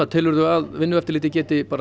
telurðu að Vinnueftirlitið geti